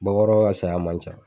Bakɔrɔ ka saya man ca